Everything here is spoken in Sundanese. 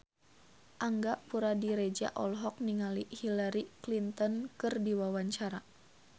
Angga Puradiredja olohok ningali Hillary Clinton keur diwawancara